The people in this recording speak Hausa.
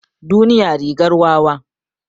Duniya rigar wawa.